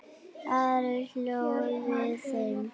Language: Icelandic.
Ari hló við þeim.